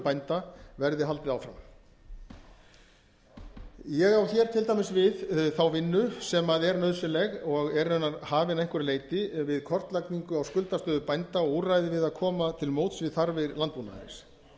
bænda verði haldið áfram ég á hér til dæmis við þá vinnu sem er nauðsynleg og er raunar hafin að einhverju leyti við kortlagningu á skuldastöðu bænda og úrræði við að koma til móts við þarfir landbúnaðarins